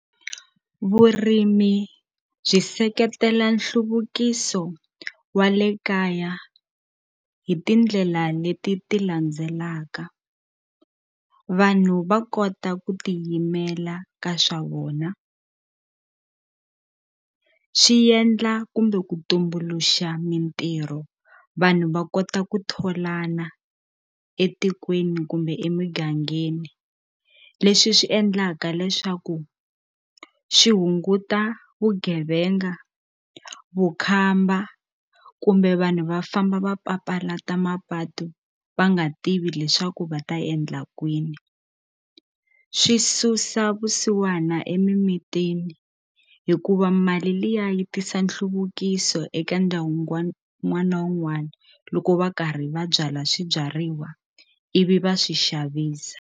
Vurimi byi seketela nhluvukiso wa le kaya hi tindlela leti ti landzelaka vanhu va kota ku tiyimela ka swa vona swi yendla kumbe ku tumbuluxa mintirho vanhu va kota ku tholana etikweni kumbe emigangeni leswi swi endlaka leswaku swi hunguta vugevenga vukhamba kumbe vanhu va famba va papalata mapatu va nga tivi leswaku va ta endla kwini swi susa vusiwana emimitini hikuva mali liya yi tisa nhluvukiso eka n'wana wun'wana loko va karhi va byala swibyariwa ivi va swi xavisa.